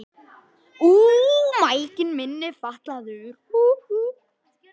En hvar ætti svona réttarhald að fara fram?